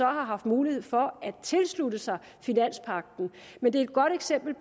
har haft mulighed for at tilslutte sig finanspagten men det er et godt eksempel